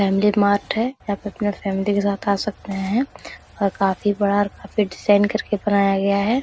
Family mart है यहाँ पे अपना फैमिली के साथ आ सकते हैं और काफी बड़ा और काफी डिज़ाइन करके बनाया गया है।